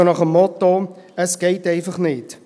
So nach dem Motto: Es geht einfach nicht.